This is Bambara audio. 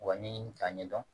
Wa ɲini k'a ɲɛdɔn